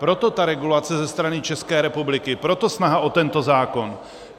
Proto ta regulace ze strany České republiky, proto snaha o tento zákon.